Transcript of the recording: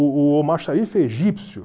O o Omar Sharif é egípcio.